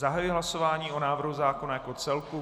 Zahajuji hlasování o návrhu zákona jako celku.